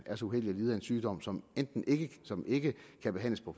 er så uheldig at lide af en sygdom som som ikke kan behandles på